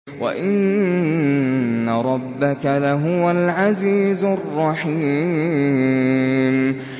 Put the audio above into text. وَإِنَّ رَبَّكَ لَهُوَ الْعَزِيزُ الرَّحِيمُ